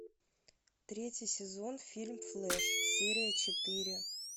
третий сезон фильм флэш серия четыре